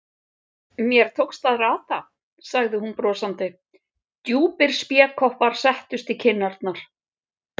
Mér tókst að rata, sagði hún brosandi, djúpir spékoppar settust í kinnarnar.